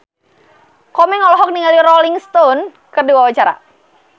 Komeng olohok ningali Rolling Stone keur diwawancara